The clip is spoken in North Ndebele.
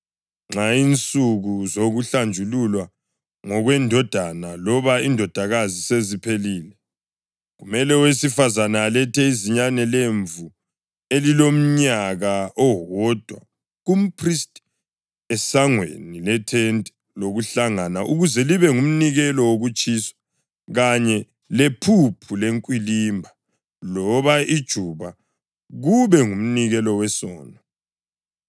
Nxa insuku zokuhlanjululwa ngokwendodana loba indodakazi seziphelile, kumele owesifazane alethe izinyane lemvu elilomnyaka owodwa kumphristi esangweni lethente lokuhlangana ukuze libe ngumnikelo wokutshiswa kanye lephuphu lenkwilimba loba ijuba kube ngumnikelo wesono.